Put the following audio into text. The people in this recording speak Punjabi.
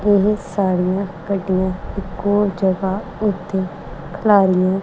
ਬਹੁਤ ਸਾਰੀਆਂ ਗੱਡੀਆਂ ਇੱਕੋ ਜਗ੍ਹਾ ਉੱਤੇ ਖਿਲਾਰੀਆਂ--